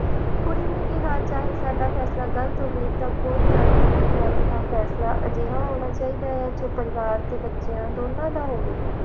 ਕੁੜੀ ਨੇ ਕਿਹਾ ਚਾਹੇ ਸਾਡਾ ਫੈਸਲਾ ਗਲਤ ਹੋਵੇ ਕੋਈ ਗੱਲ ਨਹੀਂ ਮੈਂ ਕਿਹਾ ਫੈਸਲਾ ਅਜਿਹਾ ਹੋਣਾ ਚਾਹੀਦਾ ਜੋ ਪਰਿਵਾਰ ਦੇ ਬੱਚਿਆਂ ਦੋਨਾਂ ਦਾ ਹੋਵੇ